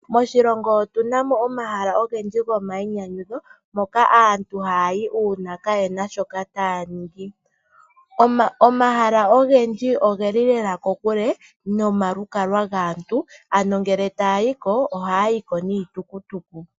Moshilongo otu na mo omahala ogendji gomayinyanyudho moka aantu haya yi uuna kaye na shoka taya ningi. Omahala ogendji ogeli lela kokule nomalukalwa gaantu uuna taya yi ko ohaya yi ko niitukutuku.